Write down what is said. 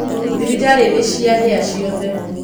Thibitarĩ nĩciahĩa ciothe